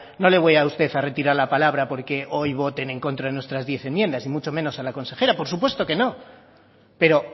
no le voy a usted a retirar la palabra porque hoy voten en contra de nuestras diez enmiendas y mucho menos a la consejera por supuesto que no pero